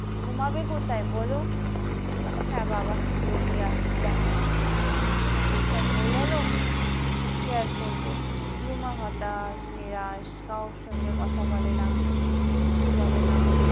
ঘুমাবে কোথায় বলো হ্যাঁ বাবা কি বলি আর দেখো এই সব হয়ে গেল কি আর করবো রুমা হতাশ নিরাশ কারো সঙ্গে কথা বলে না কিচ্ছু বলে না।